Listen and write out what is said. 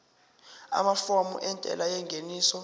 amafomu entela yengeniso